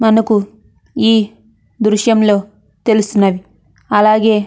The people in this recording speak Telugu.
మనకు ఈ దృశ్యంలో తెలుస్తున్నది మనకు. ఈ--